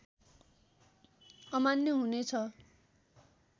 अमान्य हुने छ